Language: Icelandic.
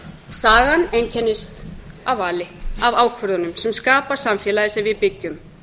sagan einkennist af vali af ákvörðunum sem skapa samfélagið sem við byggjum